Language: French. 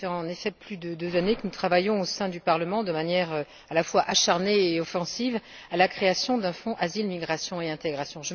Cela fait en effet plus de deux années que nous travaillons au sein du Parlement de manière à la fois acharnée et offensive à la création d'un Fonds Asile, migration et intégration.